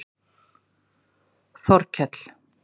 Þorkell